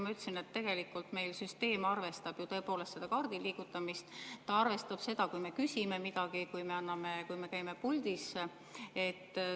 Ma ütlesin, et tegelikult meil süsteem arvestab ju kaardi liigutamist, ta arvestab seda, kui me küsime midagi ja kui me käime puldis.